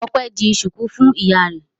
Ọpẹ́ di ṣùkú fún ìyá rẹ̀.